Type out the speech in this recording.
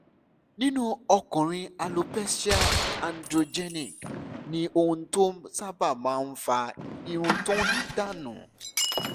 nínú ọkùnrin alopecia androgenic ni ohun tó sábà máa ń fa irun tó ń dà nù